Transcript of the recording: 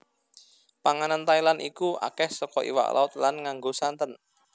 Panganan Thailand iku akeh soko iwak laut lan nganggo santen